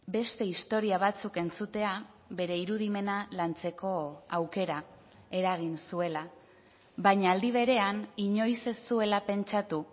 beste historia batzuk entzutea bere irudimena lantzeko aukera eragin zuela baina aldi berean inoiz ez zuela pentsatu